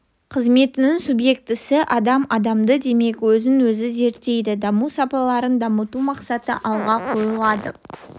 қызметінің субъектісі адам адамды демек өзін-өзі зерттейді даму сапаларын дамыту мақсаты алға қойылады